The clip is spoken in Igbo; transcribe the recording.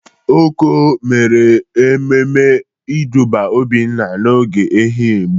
Oko mere ememe ịdụba Obinna n'ogo Ehụgbọ.